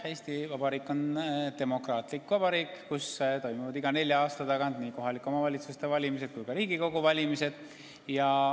Eesti Vabariik on demokraatlik vabariik, kus toimuvad iga nelja aasta tagant nii kohaliku omavalitsuse valimised kui ka Riigikogu valimised.